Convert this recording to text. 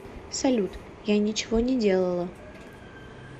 салют я ничего не делала